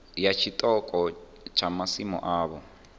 ya tshiṱoko tsha masimu avho